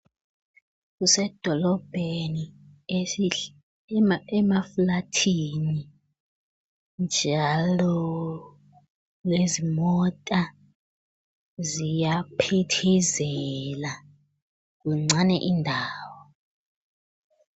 Kusedolobheni emaflatini njalo lezimota ziyaphithizela ,kuncane indawo.